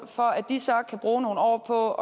for at de så kan bruge nogle år på